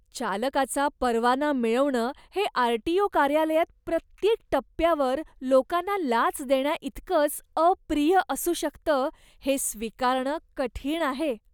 चालकाचा परवाना मिळवणं हे आरटीओ कार्यालयात प्रत्येक टप्प्यावर लोकांना लाच देण्याइतकंच अप्रिय असू शकतं हे स्वीकारणं कठीण आहे.